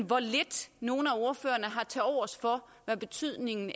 hvor lidt nogle af ordførerne har tilovers for hvad betydningen